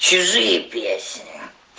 чужие песни